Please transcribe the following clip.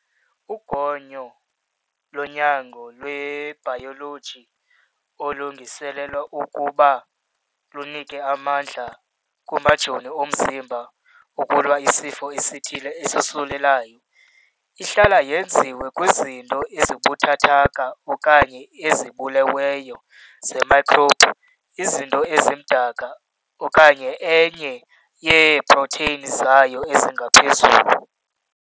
Ugonyo lonyango lwebhayoloji olulungiselelwa ukuba lunike amandla kumajoni omzimba ukulwa isifo esithile esosulelayo. Ihlala yenziwe kwizinto ezibuthathaka okanye ezibuleweyo ze-microbe, izinto ezimdaka, okanye enye yeeprotheyini zayo ezingaphezulu.